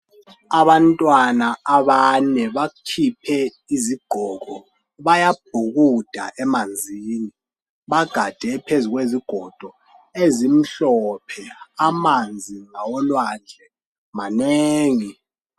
abantwana abane bakhiphe izigqoko bayabhukuda emanzini bagade phezu kwezigodo ezimhlophe amanzi ngawolwandle manengi